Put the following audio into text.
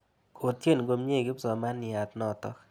Kotyen komnye kipsomaniat notok.